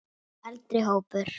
Eldri hópur